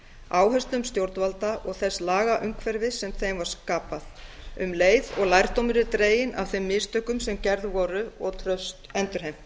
áherslum stjórnvalda og þess lagaumhverfis sem þeim var skapað um leið og lærdómur er dreginn af þeim mistökum sem gerð voru og traust endurheimt